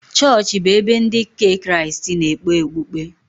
Chọọchị bụ ebe ndị nke Kraịstị na-ekpe okpukpe.